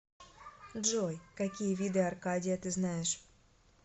джой какие виды аркадия ты знаешь